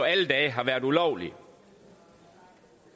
alle dage har været ulovlig